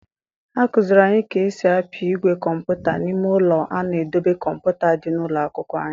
A kụziri anyị ka esi apị igwe kọmputa n'ime ụlọ a na-edobe kọmputa dị na ụlọ akwụkwọ anyị.